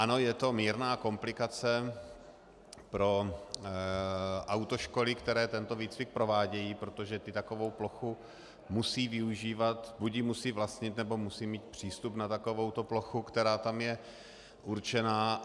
Ano, je to mírná komplikace pro autoškoly, které tento výcvik provádějí, protože ty takovou plochu musí využívat, buď ji musí vlastnit, nebo musí mít přístup na takovouto plochu, která tam je určená.